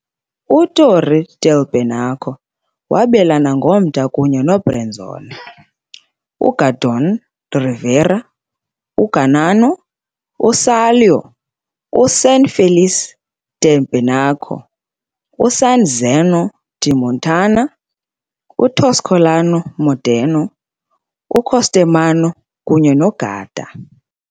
UTorri del Benaco wabelana ngomda kunye noBrenzone, Gardone Riviera, Gargnano, Salò, San Felice del Benaco, San Zeno di Montagna, Toscolano-Maderno, Costermano, kunye noGarda.